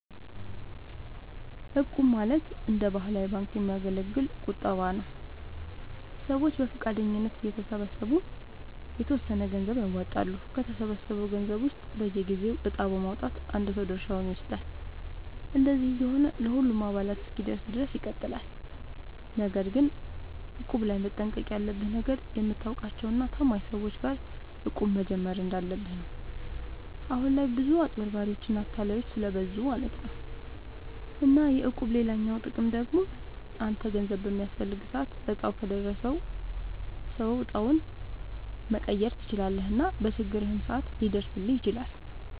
እቁብ ማለት እንደ ባህላዊ ባንክ የሚያገለግል ቁጠባ ነዉ። ሰዎች በፈቃደኝነት እየተሰባሰቡ የተወሰነ ገንዘብ ያዋጣሉ፣ ከተሰበሰበው ገንዘብ ውስጥ በየጊዜው እጣ በማዉጣት አንድ ሰው ድርሻውን ይወስዳል። እንደዚህ እየሆነ ለሁሉም አባላት እስኪደርስ ድረስ ይቀጥላል። ነገር ግን እቁብ ላይ መጠንቀቅ ያለብህ ነገር፣ የምታውቃቸው እና ታማኝ ሰዎች ጋር እቁብ መጀመር እንዳለብህ ነው። አሁን ላይ ብዙ አጭበርባሪዎች እና አታላዮች ስለብዙ ማለት ነው። እና የእቁብ ሌላኛው ጥቅም ደግሞ አንተ ገንዘብ በሚያስፈልግህ ሰዓት እጣው ከደረሰው ሰው እጣውን መቀየር ትችላለህ እና በችግርህም ሰዓት ሊደርስልህ ይችላል።